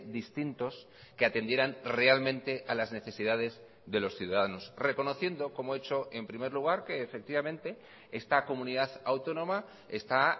distintos que atendieran realmente a las necesidades de los ciudadanos reconociendo como he hecho en primer lugar que efectivamente esta comunidad autónoma está